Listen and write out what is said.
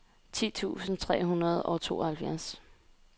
ti tusind tre hundrede og tooghalvfjerds